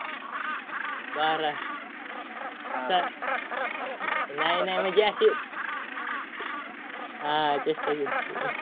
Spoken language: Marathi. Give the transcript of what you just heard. बारा. सात. नाय नाय म्हणजे असं हा चेष्टा केली